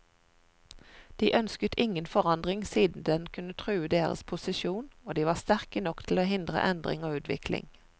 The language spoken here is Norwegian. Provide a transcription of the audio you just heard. De ønsket ingen forandring siden den kunne true deres posisjon, og de var sterke nok til å hindre endring og utvikling.